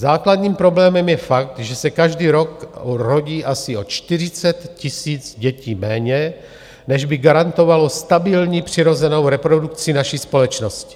Základním problémem je fakt, že se každý rok rodí asi o 40 000 dětí méně, než by garantovalo stabilní přirozenou reprodukci naší společnosti.